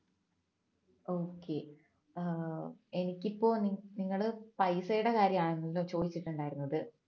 okay ഏർ എനിക്കിപ്പോൾ നിങ്ങള് പൈസയുടെ കാര്യാണല്ലോ ചോദിച്ചിട്ടുണ്ടായിരുന്നത്